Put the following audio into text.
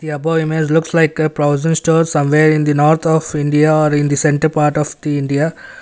the above image looks like provision store somewhere in the north of india or in the centre part of the india.